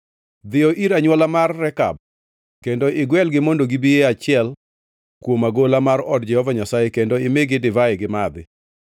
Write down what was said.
“Dhiyo ir anywola mar Rekab kendo igwelgi mondo gibi e achiel kuom agola mar od Jehova Nyasaye kendo imigi divai gimadhi.”